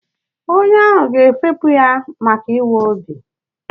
Onye ahụ ga-efepụ ya maka ịwa obi.